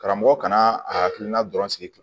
Karamɔgɔ kana a hakilina dɔrɔn sigi